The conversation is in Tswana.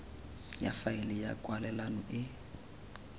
ya faele ya kwalelano e